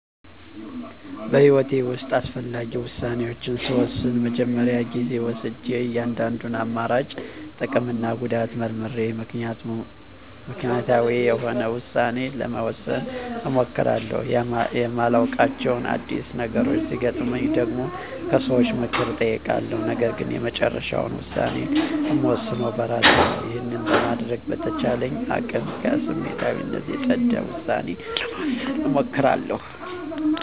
በህይወቴ ውስጥ አስፈላጊ ውሳኔዎችን ስወስን መጀመሪያ ጊዜ ወስጀ የእያንዳንዱን አማራጭ ጥቅምና ጉዳት መርምሬ ምክንያታዊ የሆነ ውሳኔ ለመወሰን እሞክራለሁ። የማላዉቃቸው አዲስ ነገሮች ሲገጥመኝ ደግሞ ከሰዎች ምክር እጠይቃለሁ ነገርግን የመጨረሻውን ውሳኔ እምወስነው በእራሴ ነው። ይህንን በማድረግ በተቻለኝ አቅም ከስሜታዊነት የፀዳ ዉሳኔ ለመወሰን እሞክራለሁ።